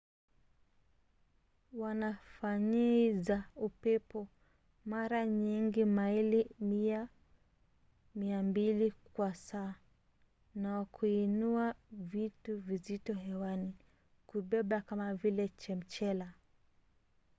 wanafanyiza upepo mara nyingi maili 100-200 kwa saa na kuinua vitu vizito hewani kubeba kama vile chemchela